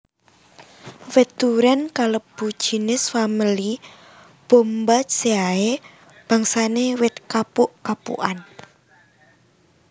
Wit durén kalebu jinis famili Bombaceae bangsane wit kapuk kapukan